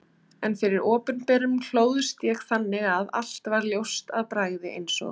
En fyrir opinberun hlóðst ég þannig að allt varð ljóst af bragði eins og